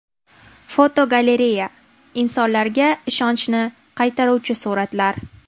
Fotogalereya: Insonlarga ishonchni qaytaruvchi suratlar.